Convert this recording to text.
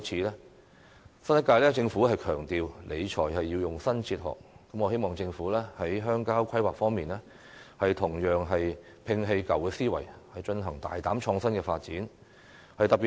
新一屆政府強調理財要用新哲學，我希望政府在鄉郊規劃方面同樣摒棄舊思維，進行大膽創新的發展。